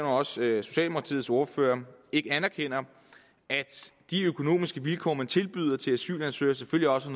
også socialdemokratiets ordfører ikke anerkender at de økonomiske vilkår man tilbyder asylansøgere selvfølgelig også